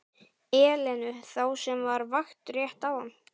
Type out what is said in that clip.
Elenu, þá sem var á vakt rétt áðan.